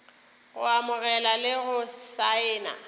go amogela le go saena